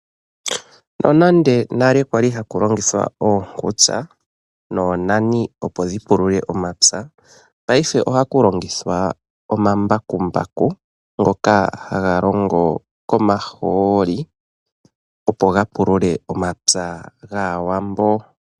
Nonande nale kwali haku longithwa oonkutsa noonani opo dhi pulule omapya, paife ohaku longithwa omambakumbaku ngoka haga longo komaholi, opo ga pulule omapya gAawambo.